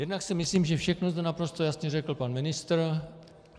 Jednak si myslím, že všechno zde naprosto jasně řekl pan ministr.